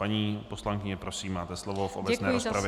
Paní poslankyně, prosím máte slovo v obecné rozpravě.